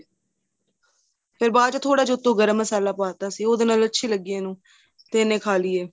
ਤੇ ਬਾਅਦ ਚ ਥੋੜਾ ਜਾਂ ਉਥੋ ਗਰਮ ਮਸ਼ਾਲਾ ਪਾਹ ਤਾਂ ਸੀ ਉਹਦੇ ਨਾਲ ਅੱਛੀ ਲੱਗੀ ਇਹਨੂੰ ਤੇ ਇਹਨੇ ਖਾਹ ਲਈ ਏ